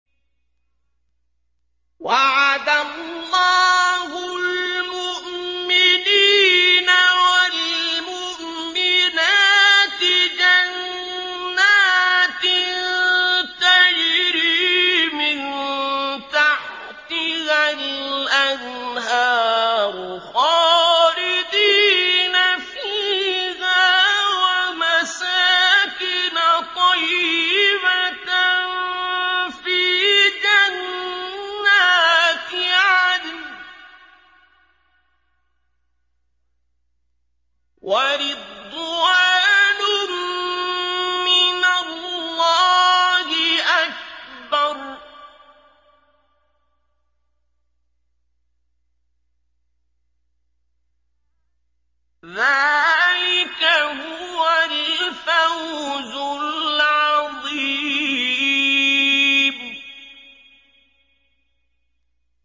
وَعَدَ اللَّهُ الْمُؤْمِنِينَ وَالْمُؤْمِنَاتِ جَنَّاتٍ تَجْرِي مِن تَحْتِهَا الْأَنْهَارُ خَالِدِينَ فِيهَا وَمَسَاكِنَ طَيِّبَةً فِي جَنَّاتِ عَدْنٍ ۚ وَرِضْوَانٌ مِّنَ اللَّهِ أَكْبَرُ ۚ ذَٰلِكَ هُوَ الْفَوْزُ الْعَظِيمُ